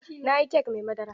Na yi kek mai madara.